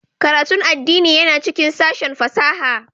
Karatun addini yana cikin sashin fasaha